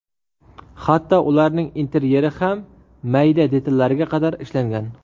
Hatto ularning interyeri ham mayda detallariga qadar ishlangan.